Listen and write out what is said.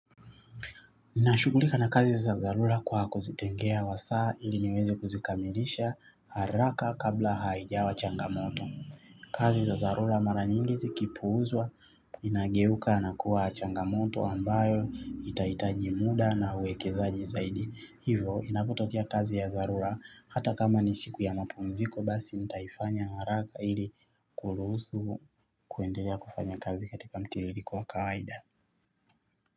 Ninashughulika na kazi za dharura kwa kuzitengea wasaa ili niweze kuzikamilisha haraka kabla haijawa changamoto. Kazi za zarura mara nyingi zikipuuzwa inageuka na kuwa changamoto ambayo itaitaji muda na uwekezaji zaidi. Hivo inapotokea kazi ya dharura hata kama ni siku ya mapumziko basi nitaifanya haraka ili kuruhusu kuendelea kufanya kazi katika mtiririko wa kawaida.